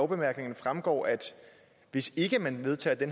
bemærkningerne fremgår at hvis ikke man vedtager det